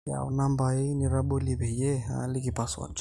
yaau nambai nitabolie peyie aaliki password